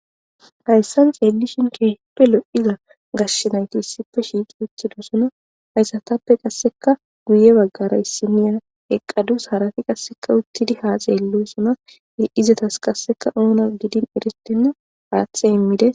"Hayssan xeelishin keehipe lo'iza gashe nayti issipe shiiqi uttidosona haysatappe qasekka guye baggara issiniya eqqadus harati qasekka uttidi ha xeelosona izetas qasekka oona gidin eretenna haathe immides."